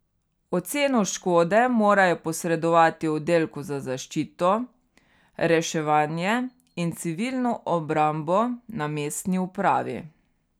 Oceno škode morajo posredovati oddelku za zaščito, reševanje in civilno obrambo na mestni upravi.